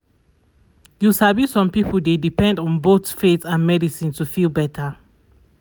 you sabi some people dey depend on both faith and and medicine to feel better